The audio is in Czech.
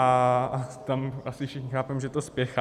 A tam asi všichni chápeme, že to spěchá.